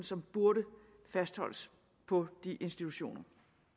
som burde fastholdes på de institutioner